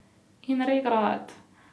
In regrat!